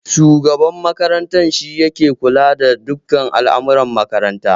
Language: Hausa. Shugaban makarantar shi yake kula da dukan al'amura makarantar